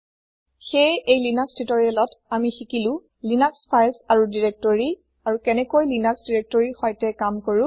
সেয়ে এই লিনাক্স টিউটৰিয়েলত আমি শিকিলো লিনাক্স ফাইল আৰু দিৰেক্তৰি আৰু কেনেকৈ লিনাক্স দিৰেক্তৰিৰ সৈতে কাম কৰো